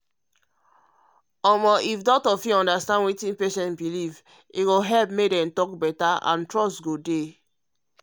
if doctor understand um wetin patient um believe um e go help make dem talk better and trust dey.